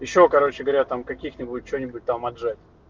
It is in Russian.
ещё короче говоря там каких-нибудь что-нибудь там отжать